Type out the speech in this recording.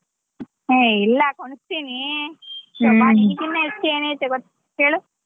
ಹೇಯ್ ಇಲ್ಲ ಕೊಣಿಸ್ತೀನಿ ಹೆಚ್ಚ್ ಏನೈತೆ ಗೊತ್ತ್ ಹೇಳು.